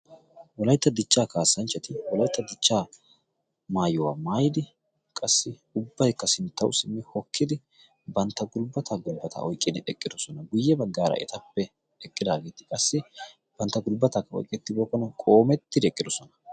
wolaitta dichchaa kaassanchchati wolaitta dichchaa maayuwaa maayidi qassi ubbaikka sinttawu simmi hokkidi bantta gulbbata gulbbata oiqqin eqqidosona guyye baggaara etappe eqqidaageeti qassi bantta gulbbataka oiqqettibookkona qoomettidi eqqidosona.